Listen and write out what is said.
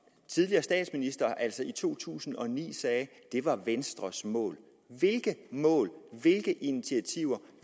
tidligere statsminister altså i to tusind og ni sagde var venstres mål hvilke mål hvilke initiativer